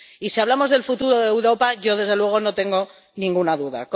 Y, si hablamos del futuro de Europa, yo, desde luego, no tengo ninguna duda.